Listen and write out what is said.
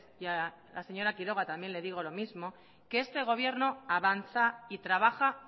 y a la señora quiroga también le digo lo mismo que este gobierno avanza y trabaja